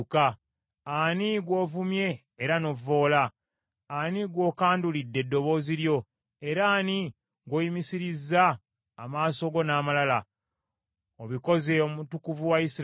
Ani gw’ovumye era n’ovvoola? Ani gw’okandulidde eddoboozi lyo, era ani gw’oyimusirizza amaaso go n’amalala? Obikoze Omutukuvu wa Isirayiri!